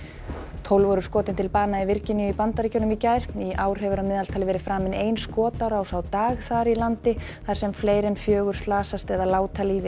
tólf voru skotin til bana í Virginíu í Bandaríkjunum í gær í ár hefur að meðaltali verið framin ein skotárás á dag þar í landi þar sem fleiri en fjögur slasast eða láta lífið